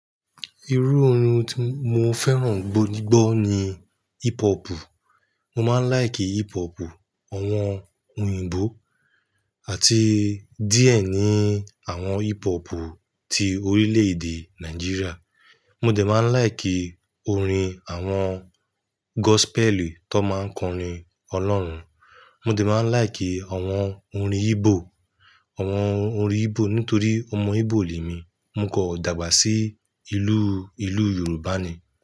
Irú orin tí mo fẹ́ràn gbó jigbo ni hipopu Mo máa ń laiki ipopu awọn òyìnbó àti díẹ̀ ní àwọn ipopu ti orílè-èdè Nàìjíríà. Mo dè máa ń laiki orin àwọn gosipeli tó máa n kọrin Ọlọ́run. Mo dè máa ń laiki àwọn orin Igbo, àwọn orin Igbo nítorí ọmọ Igbo ni èmi. Mo kò dàgbà sí ìlú, ìlú Yorùbá ni.